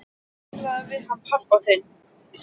En talaðu við hann pabba þinn.